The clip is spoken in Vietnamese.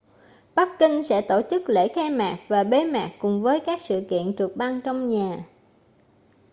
bắc kinh sẽ tổ chức lễ khai mạc và bế mạc cùng với các sự kiện trượt băng trong nhà